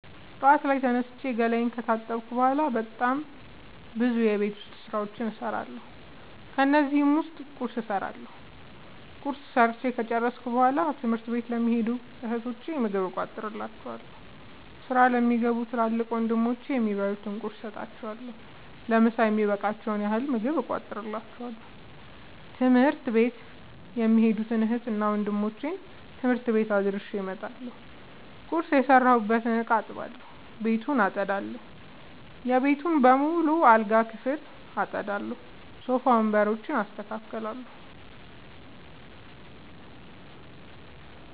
ጠዋት ላይ ተነስቼ ገላየን ከታጠብኩ በሗላ በጣም ብዙ የቤት ዉስጥ ስራዎችን እሠራለሁ። ከነዚህም ዉስጥ ቁርስ እሠራለሁ። ቁርስ ሠርቸ ከጨረሥኩ በሗላ ትምህርት ለሚኸዱ እህቶቸ ምግብ እቋጥርላቸዋለሁ። ስራ ለሚገቡ ትልቅ ወንድሞቼም የሚበሉት ቁርስ ሰጥቸ ለምሣ የሚበቃቸዉን ያህል ምግብ እቋጥርላቸዋለሁ። ትምህርት ቤት የሚኸዱትን እህትና ወንድሞቼ ትምህርት ቤት አድርሼ እመጣለሁ። ቁርስ የሰራሁበትን እቃ አጥባለሁ። ቤቱን አጠዳለሁ። የቤተሰቡን በሙሉ የአልጋ ክፍል አጠዳለሁ። ሶፋ ወንበሮችን አስተካክላለሁ።